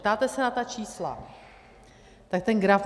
Ptáte se na ta čísla, na ten graf.